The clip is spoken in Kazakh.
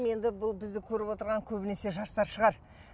енді бұл бізді көріп отырған көбінесе жастар шығар